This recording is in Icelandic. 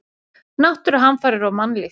Náttúruhamfarir og mannlíf.